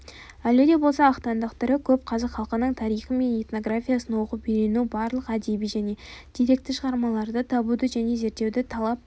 әлі де болса ақтаңдақтары көп қазақ халқының тарихы мен этнографиясын оқып-үйрену барлық әдеби және деректі шығармаларды табуды және зерттеуді талап